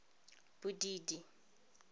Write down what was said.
bodidi